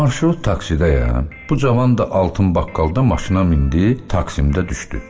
Marşrut taksidəyəm, bu cavan da altın baqqaldan maşına mindi, taksimdə düşdü.